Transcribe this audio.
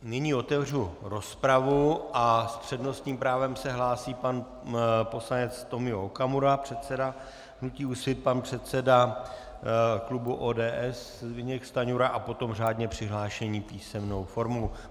Nyní otevřu rozpravu a s přednostním právem se hlásí pan poslanec Tomio Okamura, předseda hnutí Úsvit, pan předseda klubu ODS Zbyněk Stanjura a potom řádně přihlášení písemnou formou.